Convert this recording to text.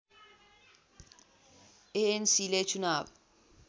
एएनसीले चुनाव